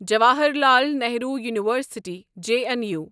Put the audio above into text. Jawaharlal Nehru university J N U